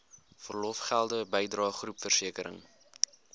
verlofgelde bydrae groepversekering